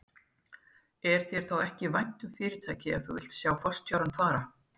Er þér þá ekki vænt um fyrirtækið ef þú vilt sjá forstjórann fara?